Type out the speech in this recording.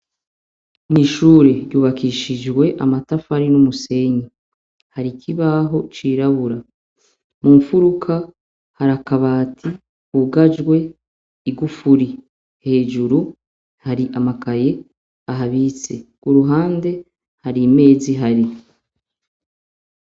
Mw’ishure ryubakishijwe amatafari n’umusenyi. Har’ikibaho cirabura, munfuruka harak’abati kugajwe Igufuri. Hejuru hari amakaye ahabitse, kuruhande, har’imez’ihari.